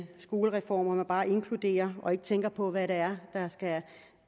skolereform hvor man bare inkluderer og ikke tænker på hvad det er der skal